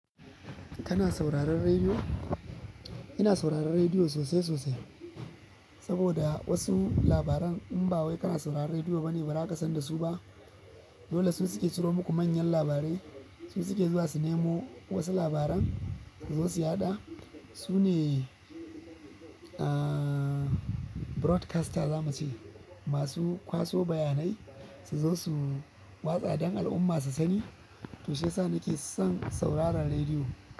Kana sauraron rediyo? Ina sauraron rediyo sosai sosai, saboda wasu labaran in ba wai kana sauraron rediyo ba ne ba za ka san da su ba. Dole su suke ciro muku manyan labarai, su suke zuwa su nemo wasu labaran suzo su yaɗa. Su ne, aaah broadcasters zamu ce, masu kwaso bayanai suzo su watsa don al'umma su sani. To shiyasa nake son sauraron rediyo.